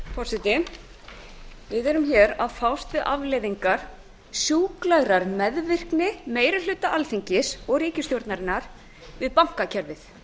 forseti við erum að fást við afleiðingar sjúklegrar meðvirkni meiri hluta alþingis og ríkisstjórnarinnar við bankakerfið